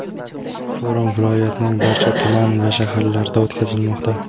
Forum viloyatning barcha tuman va shaharlarida o‘tkazilmoqda.